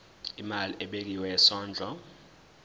imali ebekiwe yesondlo